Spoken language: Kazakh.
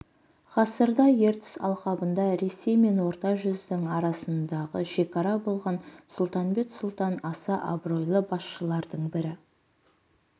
ғасырда ертіс алқабында ресей мен орта жүздің арасындағы шекара болған сұлтанбет сұлтан аса абыройлы басшылардың бірі